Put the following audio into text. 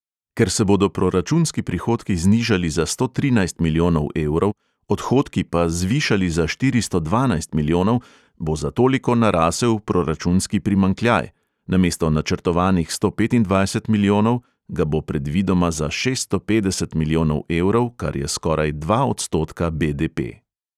Ker se bodo proračunski prihodki znižali za sto trinajst milijonov evrov, odhodki pa zvišali za štiristo dvanajst milijonov, bo za toliko narasel proračunski primanjkljaj; namesto načrtovanih sto petindvajset milijonov ga bo predvidoma za šeststo petdeset milijonov evrov, kar je skoraj dva odstotka BDP.